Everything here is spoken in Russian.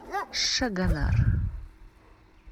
шагонар